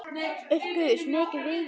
Upp gaus mikill reykur.